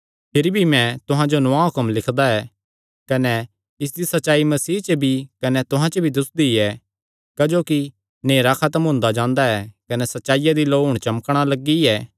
भिरी भी मैं तुहां जो नौआं हुक्म लिखदा ऐ कने इसदी सच्चाई मसीह च भी कने तुहां च भी दुस्सदी ऐ क्जोकि नेहरा खत्म हुंदा जांदा ऐ कने सच्चाईया दी लौ हुण चमकणा लग्गी ऐ